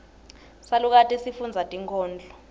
salukati sifundza tinkhondlo